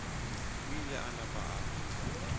o ile a napa a